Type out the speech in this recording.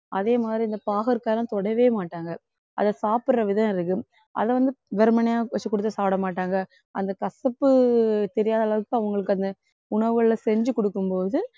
அதே மாதிரி இந்த பாகற்காய்லாம் தொடவேமாட்டாங்க அதை சாப்பிடுற விதம் இருக்கு அதைவந்து வெறுமனே வச்சு கொடுத்து சாப்பிட மாட்டாங்க அந்த கசப்பு தெரியாத அளவுக்கு அவங்களுக்கு அந்த உணவுகள்ல செஞ்சு குடுக்கும் போது